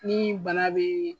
Ni bana be